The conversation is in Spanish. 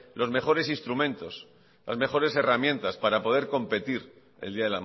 los mejores instrumentos las mejores herramientas para poder competir el día